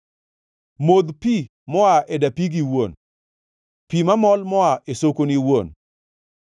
Modh pi moa e dapigi iwuon, pi mamol moa e sokoni iwuon.